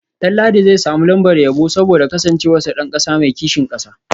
Danladi zai samu lambar yabo saboda kasancewarsa dan kasa mai kishin kasa